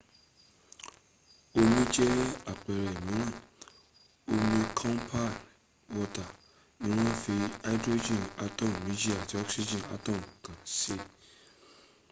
omi jẹ́ àpẹrẹ mìíràn omi compound water ni wọ́n fi hydrogen atom méjì àti oxgen atom kan se